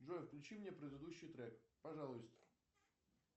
джой включи мне предыдущий трек пожалуйста